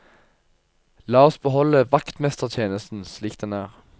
La oss beholde vaktmestertjenesten slik den er.